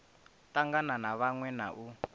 tangana na vhaṅwe na u